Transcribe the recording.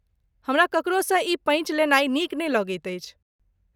हमरा ककरोसँ ई पैँच लेनाइ नीक नहि लगैत अछि।